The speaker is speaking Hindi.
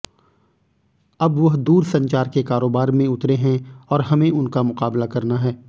अब वह दूरसंचार के कारोबार में उतरे हैं और हमें उनका मुकाबला करना है